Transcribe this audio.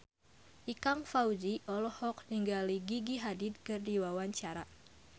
Ikang Fawzi olohok ningali Gigi Hadid keur diwawancara